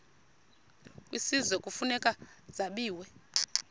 kwisizwe kufuneka zabiwe